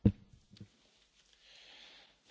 Herr Präsident, meine sehr geehrten Damen und Herren!